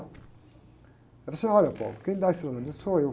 Ele falou assim, olha, quem dá esse treinamento sou eu.